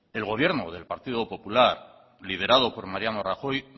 el gobierno del partido popular liderado por mariano rajoy